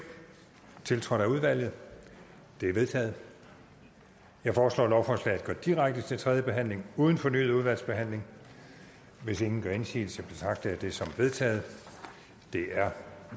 tiltrådt af udvalget de er vedtaget jeg foreslår at lovforslaget går direkte til tredje behandling uden fornyet udvalgsbehandling hvis ingen gør indsigelse betragter jeg det som vedtaget det er